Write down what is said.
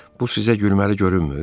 Bu sizə gülməli görünmür?